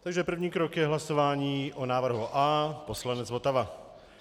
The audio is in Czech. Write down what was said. Takže první krok je hlasování o návrhu A, poslanec Votava.